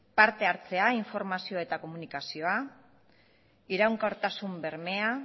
parte hartzea informazioa eta komunikazioa iraunkortasun bermea